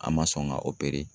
An ma sɔn ka